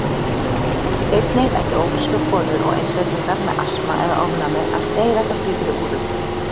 Einnig ættu ófrískar konur og einstaklingar með asma eða ofnæmi að sneiða hjá slíkri úðun.